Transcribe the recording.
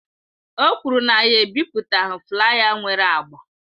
O kwuru na ya ebipụtaghi flaya nwere agba.